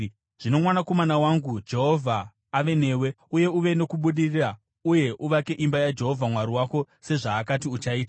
“Zvino mwanakomana wangu, Jehovha ave newe, uye uve nokubudirira uye uvake imba yaJehovha Mwari wako sezvaakati uchaita.